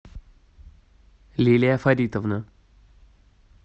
лилия фаритовна